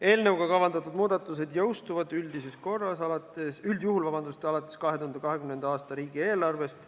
Eelnõuga kavandatud muudatused jõustuvad üldjuhul alates 2020. aasta riigieelarvest.